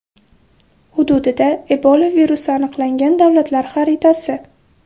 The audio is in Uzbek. Hududida Ebola virusi aniqlangan davlatlar xariatasi.